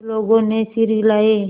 सब लोगों ने सिर हिलाए